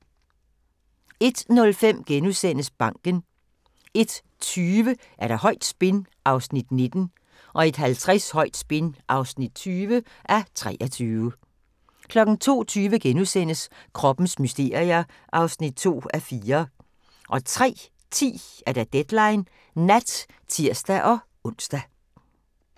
01:05: Banken * 01:20: Højt spin (19:23) 01:50: Højt spin (20:23) 02:20: Kroppens mysterier (2:4)* 03:10: Deadline Nat (tir-ons)